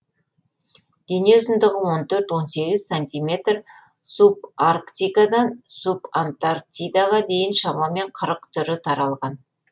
дене ұзындығы он төрт он сегіз сантиметр субарктикадан субантарктидаға дейін шамамен қырық түрі таралған